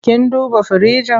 Kin duba firinji?